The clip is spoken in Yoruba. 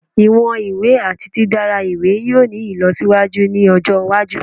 Iwọn iwe ati didara iwe yoo ni ilọsiwaju ni ọjọ iwaju